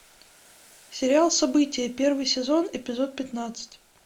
сериал собития первый сезон эпизод пятнадцать